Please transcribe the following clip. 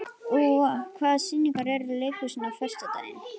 Úa, hvaða sýningar eru í leikhúsinu á föstudaginn?